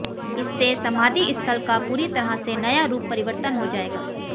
इससे समाधि स्थल का पूरी तरह से नया रूप परिवर्तन हो जाएगा